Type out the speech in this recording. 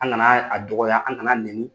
An ŋana yɛ a dɔgɔya, an ŋan'a neni.